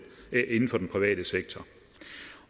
private sektor